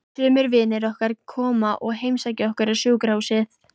Sumir vinir okkar koma og heimsækja okkur á sjúkrahúsið.